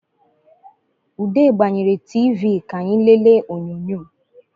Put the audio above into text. Ude gbanyere TV ka anyị lele onyọnyọ